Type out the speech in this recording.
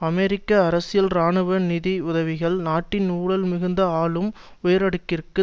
அமெரிக்க அரசியல் இராணுவ நிதி உதவிகள் நாட்டின் ஊழல் மிகுந்த ஆளும் உயரடுக்கிற்கு